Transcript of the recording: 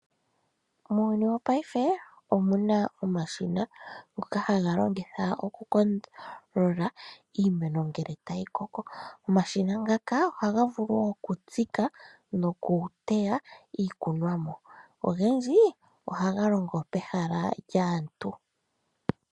Muuyuni wopaife omuna omashina ngoka haga longithwa okukondolola iimeno ngele tayi koko. Omashina ngaka ohaga vulu okutsika noku teya iikunomwa, ogendji ohaga longo pehala lyaantu.